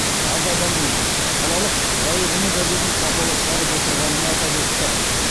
аз адаммен қалалық жайық үні газетін сапалы шығарып отырғанын атап өтті